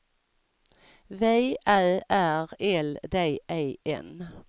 V Ä R L D E N